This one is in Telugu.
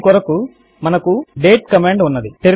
దీని కొరకు మనకు డేట్ కమాండ్ ఉన్నది